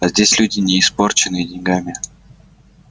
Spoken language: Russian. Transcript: а здесь люди не испорченные деньгами